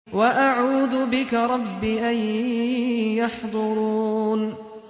وَأَعُوذُ بِكَ رَبِّ أَن يَحْضُرُونِ